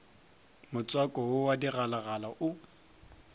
motswako wo wa digalagala o